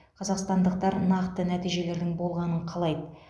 қазақстандықтар нақты нәтижелердің болғанын қалайды